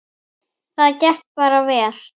Það gekk bara vel.